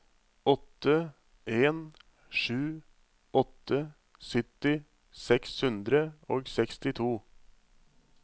åtte en sju åtte sytti seks hundre og sekstito